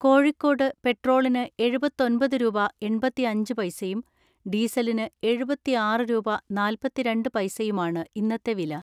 കോഴിക്കോട്ട് പെട്രോളിന് എഴുപത്തൊൻപത് രൂപ എൺപതിഅഞ്ച് പൈസയും ഡീസലിന് എഴുപതിആറ് രൂപ നാൽപത്തിരണ്ട് പൈസയുമാണ് ഇന്നത്തെ വില.